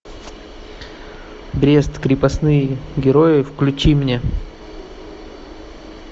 брест крепостные герои включи мне